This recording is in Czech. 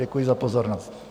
Děkuji za pozornost.